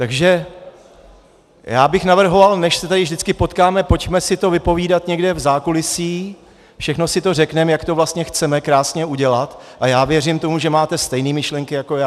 Takže já bych navrhoval, než se tady vždycky potkáme, pojďme si to vypovídat někde v zákulisí, všechno si to řekneme, jak to vlastně chceme krásně udělat, a já věřím tomu, že máte stejné myšlenky jako já.